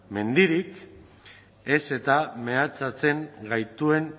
mendirik ez eta mehatxatzen gaituen